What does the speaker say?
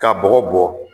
Ka bɔgɔ bɔ